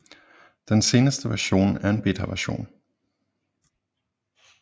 Den seneste version er en betaversion